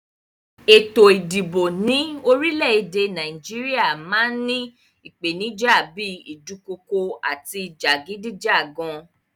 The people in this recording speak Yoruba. Ètò ìdìbò ní orílẹ èdè Naíjiria máa n ni ìpènijà bi ìdukokò àti jàgídíjàgan